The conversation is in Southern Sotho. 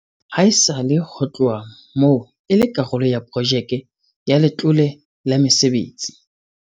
Haesale ho tloha moo e le karolo ya Projeke ya Letlole la Mesebetsi.